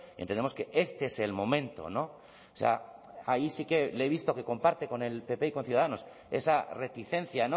entendemos que este es el momento o sea ahí sí que le he visto que comparte con el pp y con ciudadanos esa reticencia